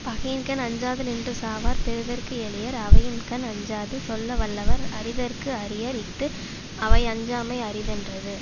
பகையின்கண் அஞ்சாது நின்று சாவார் பெறுதற்கு எளியர் அவையின்கண் அஞ்சாது சொல்ல வல்லவர் அறிதற்கு அரியர் இஃது அவையஞ்சாமை அரிதென்றது